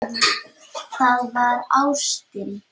Það var ástin.